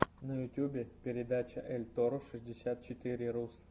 на ютюбе передача эльторро шестьдесят четыре рус